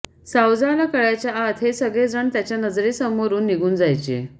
सावजाला कळायच्या आत हे सगळे जण त्याच्या नजरेसमोरून निघून जायचे